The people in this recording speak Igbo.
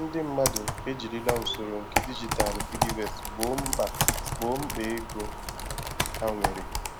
Ọtụtụ ndị mmadụ e jirila usoro nke digitalụ PiggyVest Gboo mkpa Gboo mkpa ego ha nwere